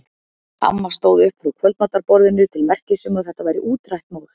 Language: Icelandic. Amma stóð upp frá kvöldmatarborðinu til merkis um að þetta væri útrætt mál.